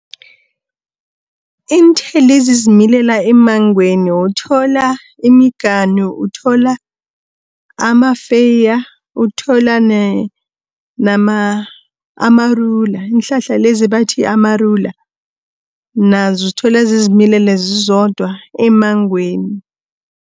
Iinthelo ezizimilela emangweni uthola imiganu, uthola amafeeya, uthola amarula iinhlahla lezi bathi amarula, nazo uzithola zizimilela zizodwa emmangweni.